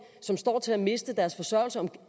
som står til at miste deres forsørgelse om